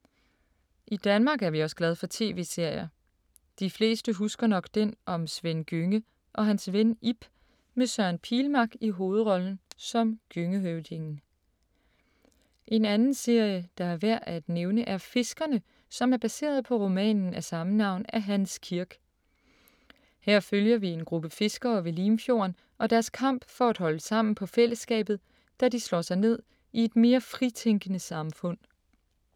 I Danmark er vi også glade for TV-serier. De fleste husker nok den om Svend Gjønge og hans ven Ib med Søren Pilmark i hovedrollen som Gjøngehøvdingen. En anden serie, der er værd at nævne, er Fiskerne, som er baseret på romanen af samme navn af Hans Kirk. Her følger vi en gruppe fiskere ved Limfjorden og deres kamp for at holde sammen på fællesskabet, da de slår sig ned i et mere fritænkende samfund.